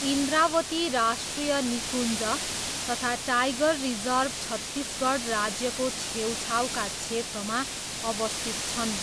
इन्द्रावती राष्ट्रिय निकुञ्ज तथा टाइगर रिजर्भ छत्तिसगढ राज्यको छेउछाउका क्षेत्रमा अवस्थित छन्।